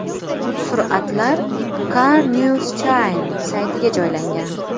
Suratlar CarNewsChina saytiga joylangan.